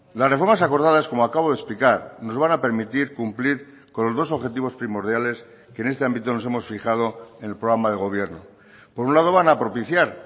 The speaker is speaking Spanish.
las reformas acordadas como acabo de explicar nos van a permitir cumplir con los dos objetivos primordiales que en este ámbito nos hemos fijado en el programa de gobierno por un lado van a propiciar